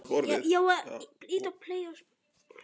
Frægust þeirra er Katla.